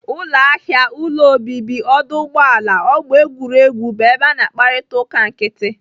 Ụlọ ahịa, ụlọ obibi, ọdụ ụgbọala, ọgbọ egwuregwu bụ ebe a na-akparịta uka nkịtị.